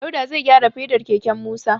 Dauda zai gyara fedar keken Musa.